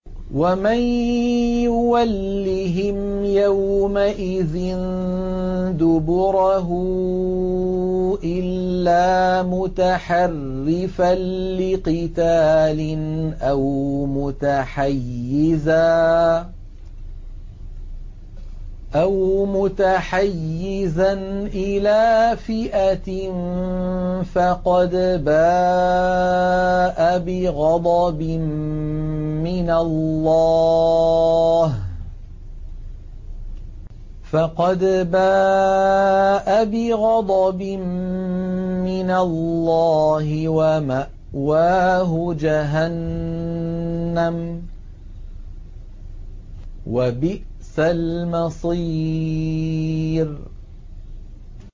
وَمَن يُوَلِّهِمْ يَوْمَئِذٍ دُبُرَهُ إِلَّا مُتَحَرِّفًا لِّقِتَالٍ أَوْ مُتَحَيِّزًا إِلَىٰ فِئَةٍ فَقَدْ بَاءَ بِغَضَبٍ مِّنَ اللَّهِ وَمَأْوَاهُ جَهَنَّمُ ۖ وَبِئْسَ الْمَصِيرُ